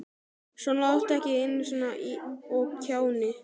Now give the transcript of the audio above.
Svona láttu ekki eins og kjáni.